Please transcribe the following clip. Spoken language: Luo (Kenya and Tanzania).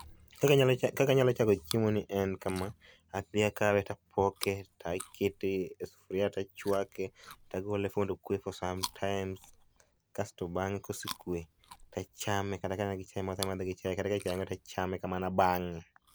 Kaka anyalo, kaka anyalo chamo chiemo ni en kama. Adhi akawe tapoke, takete e sufria tachwake, tagole tokwe for some times kasto bange kosekwe tachame kata kagi chai tamadhe gi chai ,kata ka chai onge tachame kamano, abang'e